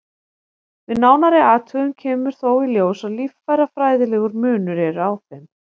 Við nánari athugun kemur þó í ljós að líffærafræðilegur munur er á þeim.